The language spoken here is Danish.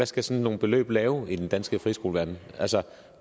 skal sådan nogle beløb lave i den danske friskoleverden altså